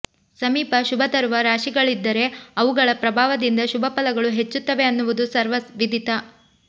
ಸಮೀಪ ಶುಭ ತರುವ ರಾಶಿಗಳಿದ್ದರೆ ಅವುಗಳ ಪ್ರಭಾವದಿಂದ ಶುಭ ಫಲಗಳು ಹೆಚ್ಚುತ್ತವೆ ಅನ್ನುವುದು ಸರ್ವ ವಿದಿತ